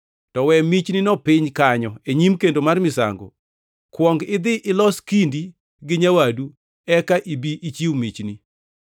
to we michnino piny kanyo e nyim kendo mar misango. Kuong idhi ilos kindi gi nyawadu; eka ibi ichiw michni.